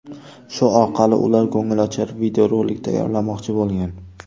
Shu orqali ular ko‘ngilochar videorolik tayyorlamoqchi bo‘lgan.